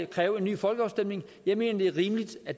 kræve en ny folkeafstemning jeg mener det er rimeligt at